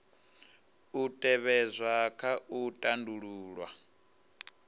u tevhedzwa kha u tandulula